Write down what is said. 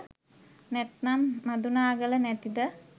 නැත්නම් මදුනාගල නැතිද